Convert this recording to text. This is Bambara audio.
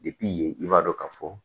yen i b'a dɔn ka fɔ